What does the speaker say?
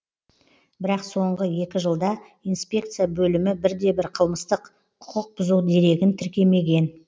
бірақ соңғы екі жылда инспекция бөлімі бірде бір қылмыстық құқықбұзу дерегін тіркемеген